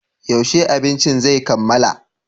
Yaushe abincin zai kammala?